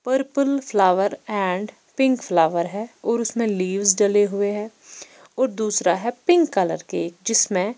purple flower and pink flower है और उसमें लीव्स डले हुए हैं और दूसरा है पिंक कलर केक जिसमें--